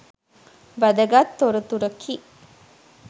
වැදගත් තොරතුරකි